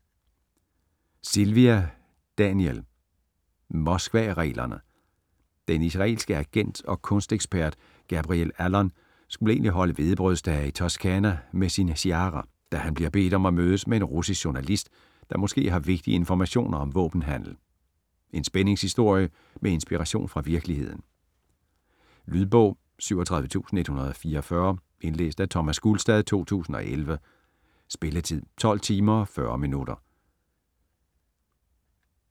Silva, Daniel: Moskvareglerne Den israelske agent og kunstekspert Gabriel Allon skulle egentlig holde hvedebrødsdage i Toscana med sin Shiara, da han bliver bedt om at mødes med en russisk journalist, der måske har vigtige informationer om våbenhandel. En spændingshistorie med inspiration fra virkeligheden. Lydbog 37144 Indlæst af Thomas Gulstad, 2011. Spilletid: 12 timer, 40 minutter.